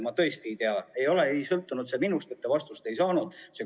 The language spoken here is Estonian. Ma tõesti ei tea, miks te ei ole vastust saanud.